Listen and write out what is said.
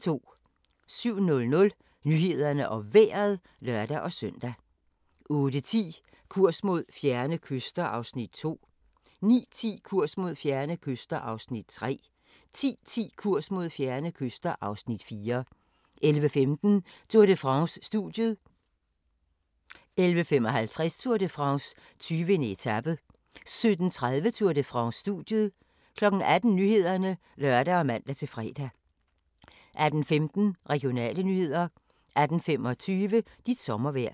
07:00: Nyhederne og Vejret (lør-søn) 08:10: Kurs mod fjerne kyster (Afs. 2) 09:10: Kurs mod fjerne kyster (Afs. 3) 10:10: Kurs mod fjerne kyster (Afs. 4) 11:15: Tour de France: Studiet 11:55: Tour de France: 20. etape 17:30: Tour de France: Studiet 18:00: Nyhederne (lør og man-fre) 18:15: Regionale nyheder 18:25: Dit sommervejr